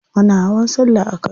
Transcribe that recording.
Ana hawan sallah a kano.